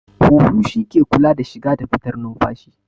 Huhu shi ke kula da shiga da fitar numfashi